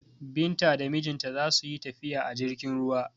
Binta da mijinta za su yi tafiya a jirgin ruwa.